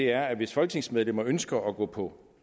er at hvis folketingsmedlemmer ønsker at gå på